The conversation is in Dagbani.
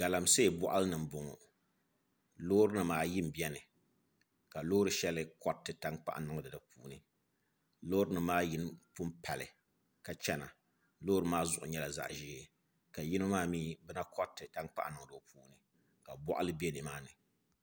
Galamsee boɣali ni n boŋo loori nim ayi n boŋo ka loori shɛli koriti tankpaɣu niŋdi di puuni loori nim maa yino pun pali ka chɛna loori maa zuɣu nyɛla zaɣ ʒiɛ ka yino maa mii bi na koriti tankpaɣu niŋdi o puuni ka boɣali bɛ nimaani